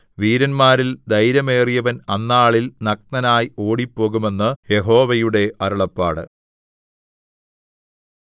വീരന്മാരിൽ ധൈര്യമേറിയവൻ അന്നാളിൽ നഗ്നനായി ഓടിപ്പോകും എന്ന് യഹോവയുടെ അരുളപ്പാട്